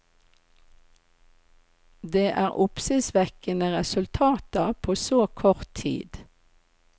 Det er oppsiktsvekkende resultater på så kort tid.